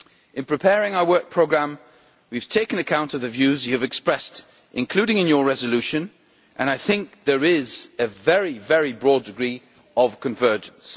In preparing our Work Programme we have taken account of the views you have expressed, including in your resolution and I think there is a very broad degree of convergence.